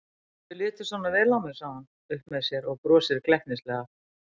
Þér hefur litist svona vel á mig, segir hún upp með sér og brosir glettnislega.